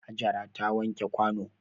Hajara ta wanke kwano.